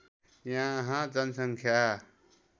यहाँ जनसङ्ख्या